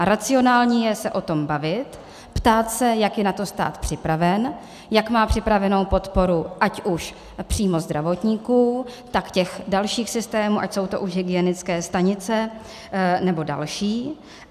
A racionální je se o tom bavit, ptát se, jak je na to stát připraven, jak má připravenu podporu ať už přímo zdravotníků, tak těch dalších systémů, ať to jsou už hygienické stanice nebo další.